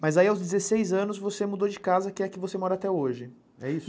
Mas aí aos dezesseis anos você mudou de casa que é a que você mora até hoje, é isso?